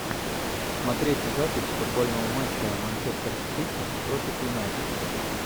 смотреть запись футбольного матча манчестер сити против юнайтед